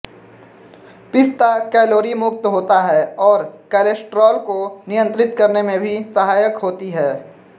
पिस्ता कैलोरीमुक्त होता है और कोलेस्ट्रॉल को नियंत्रित करने में भी सहायक होते हैं